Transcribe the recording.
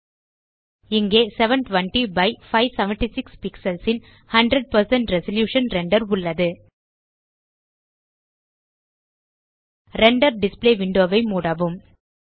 இங்கே 720 by 576 pixels ன் 100 resolution render உள்ளது ரெண்டர் டிஸ்ப்ளே விண்டோ ஐ மூடவும்